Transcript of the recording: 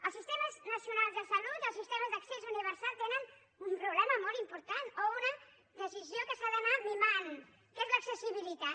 els sistemes nacionals de salut els sistemes d’accés universal tenen un problema molt important o una decisió que s’ha d’anar mimant que és l’accessibilitat